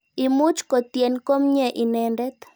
Imuch kotyen komnye inendet.